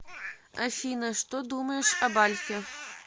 афина что думаешь об альфе